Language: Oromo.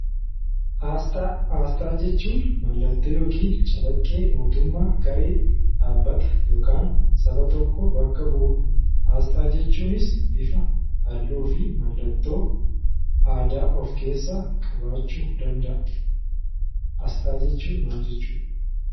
Aasxaa. Aasxaa jechuun mallattoo yookin calaqqee mootummaa, garee, dhaabbata yookan saba tokko bakka bu'udha. Aasxaa jechuunis bifa, halluu fi mallattoo aadaa of keessaa qabaachuu dabda'a. Asxaa jechuun maal jechuudha?